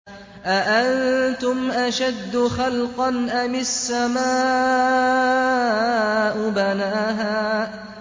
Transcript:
أَأَنتُمْ أَشَدُّ خَلْقًا أَمِ السَّمَاءُ ۚ بَنَاهَا